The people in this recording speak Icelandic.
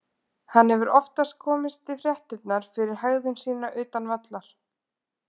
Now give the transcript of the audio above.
Hann hefur oft komist í fréttirnar fyrir hegðun sína utan vallar.